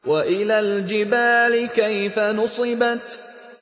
وَإِلَى الْجِبَالِ كَيْفَ نُصِبَتْ